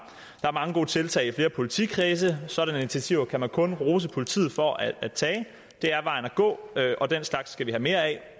er mange gode tiltag i flere politikredse og sådanne initiativer kan man kun rose politiet for at tage det er vejen at gå og den slags skal vi have mere af